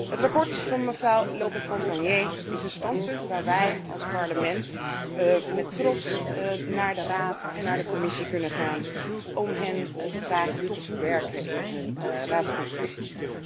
Het verslag van mevrouw Lope Fontagné is een standpunt waar wij als Parlement met trots naar de Raad en naar de Commissie kunnen gaan om hun te vragen dit te verwerken in hun raadsconclusies.